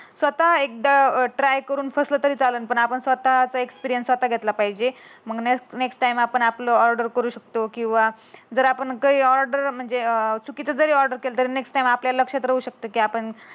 स्वतः एकदा ट्राय करून फसलं तरी चालेन. पण आपण ते एक्सपिरीयन्स स्वतः घेतला पाहिजे. मग नेक्स्ट नेक्स्ट टाईम आपला ऑर्डर करू शकतो. कीव्हा जर आपण कयी ऑर्डर म्हणजे अं चुकीच जरी आपण केला. तरी आपण नेक्स्ट आपल्या लक्षात राहू शकतो. की आपण